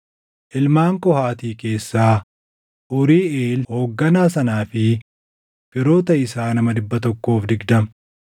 Ilmaan Qohaati keessaa, Uuriiʼeel hoogganaa sanaa fi firoota isaa nama 120;